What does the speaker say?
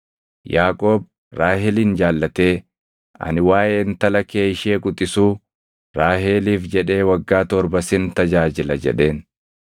Yaaqoob Raahelin jaallatee, “Ani waaʼee intala kee ishee quxisuu, Raaheliif jedhee waggaa torba sin tajaajila” jedheen.